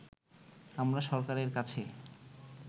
আমরা সরকারের কাছে